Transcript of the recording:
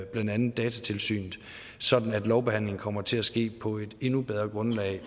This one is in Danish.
blandt andet datatilsynet sådan at lovbehandlingen kommer til at ske på et endnu bedre grundlag